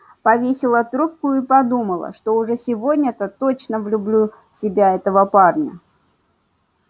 повесила трубку и подумала что уж сегодня-то точно влюблю в себя этого парня